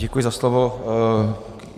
Děkuji za slovo.